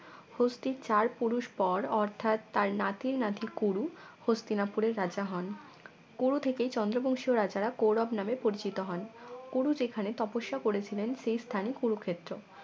অস্থির চার পুরুষ পর অর্থাৎ তার নাতির নাতি কুরু হস্তিনাপুরের রাজা হন কুরু থেকেই চন্দ্র বংশীয় রাজারা কৌরব নামে পরিচিত হন কুরু যেখানে তপস্যা করেছিলেন, সেই স্থানই কুরুক্ষেত্র